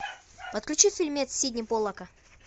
подключи фильмец сидни поллака